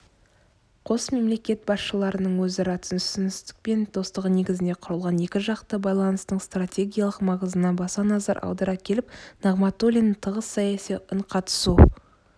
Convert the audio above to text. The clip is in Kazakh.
қос мемлекет басшыларының өзара түсіністік пен достығы негізінде құрылған екіжақты байланыстың стратегиялық маңызына баса назар аудара келіп нығматулин тығыз саяси үнқатысу